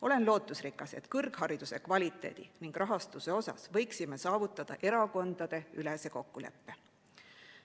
Olen lootusrikas, et kõrghariduse kvaliteedi ning rahastuse puhul võiksime saavutada erakondadeülese kokkuleppe.